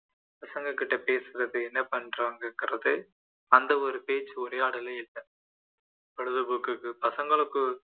பசங்ககிட்ட பேசுறது என்ன பண்ணுறாங்கங்கிறது அந்த ஒரு பேச்சு உரையாடலே இல்லை பொழுது போக்குக்கு பசங்களுக்கு